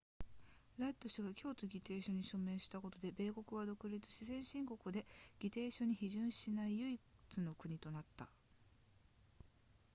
ラッド氏が京都議定書に署名したことで米国は孤立し先進国で議定書に批准しない唯一の国となった